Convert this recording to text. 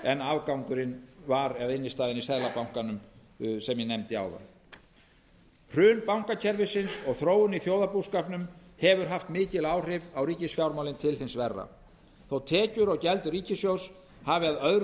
en afgangurinn var eða innstæðan í seðlabankanum sem ég nefndi áðan hrun bankakerfisins og þróunin í þjóðarbúskapnum hefur haft mikil áhrif á ríkisfjármálin til hins verra þótt tekjur og gjöld ríkissjóðs hafi að öðru